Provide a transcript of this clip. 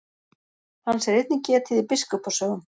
Hans er einnig getið í biskupa sögum.